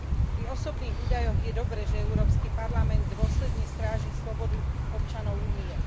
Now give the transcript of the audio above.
Pri osobných údajoch je dobré, že Európsky parlament dôsledne stráži slobodu občanov Únie.